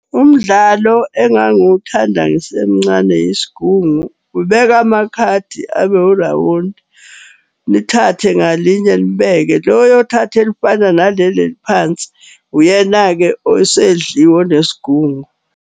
Umdlalo engangiwuthanda ngisemncane yisgungu. Ubeka amakhadi abe urawundi, nithathe ngalinye nibeke. Lo oyothatha elifana naleli eliphansi, uyena-ke osedliwe onesgungu.